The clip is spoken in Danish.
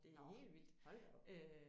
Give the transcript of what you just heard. Nåh hold da op